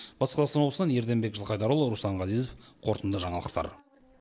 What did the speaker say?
батыс қазақстан облысынан ерденбек жылқайдарұлы руслан ғазезов қорытынды жаңалықтар